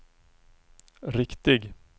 riktig